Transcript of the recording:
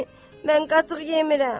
"Mən qatıq yemirəm.